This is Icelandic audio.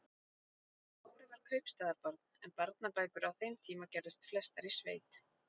Kári var kaupstaðarbarn en barnabækur á þeim tíma gerðust flestar í sveit.